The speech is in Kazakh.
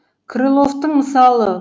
крыловтың мысалы